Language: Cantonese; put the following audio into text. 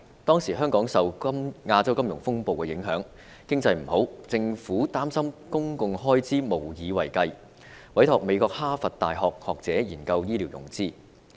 當時香港受亞洲金融風暴影響，經濟不景，政府擔心公共開支無以為繼，因而委託美國哈佛大學學者研究醫療融資。